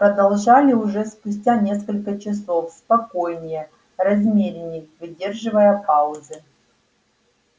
продолжали уже спустя несколько часов спокойнее размеренней выдерживая паузы